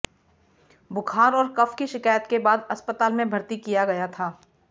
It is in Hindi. बुखार और कफ की शिकायत के बाद अस्पताल में भर्ती किया गया था